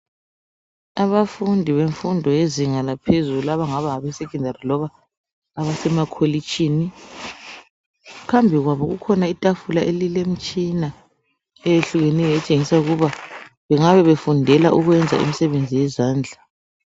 Abafundi bemfundo yezinga laphezulu abangaba ngabesecondary loba abasemakholitshini. Phambi kwabo kukhona itafula elilemtshina eyehlukeneyo etshengisa ukuba bengabe befundela ukwenza umsebenzi yezandla.